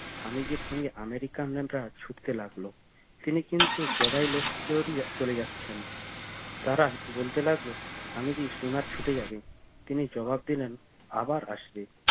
স্বামীজির সঙ্গে আমেরিকানরা ছুটতে লাগলো তিনি কিন্তু গড়াই লস্করিয়া চলে যাচ্ছেন তারা বলতে লাগলো স্বামীজির স্টিমার ছুটে যাবে তিনি জবাব দিলেন আবার আসবে